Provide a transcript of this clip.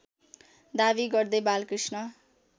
दाबी गर्दै बालकृष्ण